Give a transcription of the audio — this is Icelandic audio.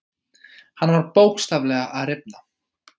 Hann var bókstaflega að rifna.